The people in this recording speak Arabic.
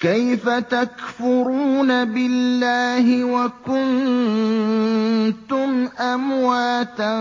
كَيْفَ تَكْفُرُونَ بِاللَّهِ وَكُنتُمْ أَمْوَاتًا